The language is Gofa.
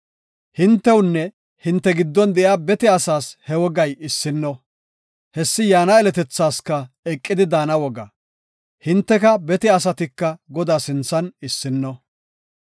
Hintewunne hinte giddon de7iya bete asaas he wogay issino; hessi yaana yeletethaaska eqidi daana woga; Hinteka bete asatika Godaa sinthan issino.